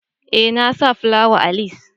Eh, na sa plawan a lis.